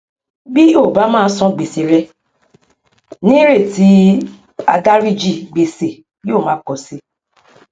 bí o bá má san gbèsè rẹ ní ìrètí àdáríjì gbèsè yóò máa pọ si